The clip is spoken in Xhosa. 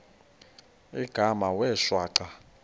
igama wee shwaca